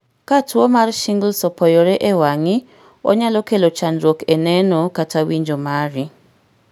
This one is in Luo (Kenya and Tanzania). Ka tuwo mar Shingles opoyore e wangi, onyalo kelo chandruok e neno kata winjo mari.